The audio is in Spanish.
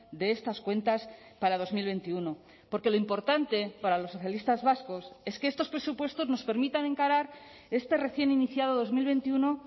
de estas cuentas para dos mil veintiuno porque lo importante para los socialistas vascos es que estos presupuestos nos permitan encarar este recién iniciado dos mil veintiuno